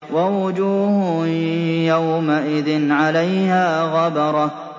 وَوُجُوهٌ يَوْمَئِذٍ عَلَيْهَا غَبَرَةٌ